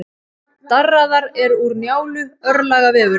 Darraðar er úr Njálu, örlagavefurinn.